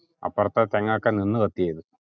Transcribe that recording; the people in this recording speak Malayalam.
അപ്പാർത്തേ തേങ്ങാക്കെ നിന്ന്കത്യാർന്നു